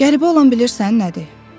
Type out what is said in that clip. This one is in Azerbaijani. Qəribə olan bilirsən nədir?